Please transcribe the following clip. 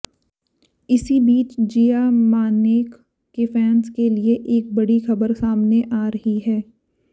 इसी बीच जिया मानेक के फैंस के लिए एक बड़ी खबर सामने आ रही है